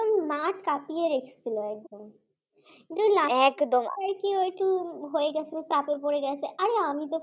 মাঠ কাপিয়ে রেখে চলে একদম, একেই তিন গোল হয়ে গেছে চাপে পড়ে গেছে । আমি তো,